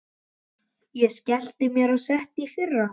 Ég skellti mér á sett í fyrra.